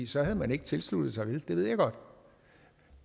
så havde man ikke tilsluttet sig det ved jeg godt